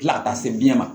Tila ka taa se biyɛn ma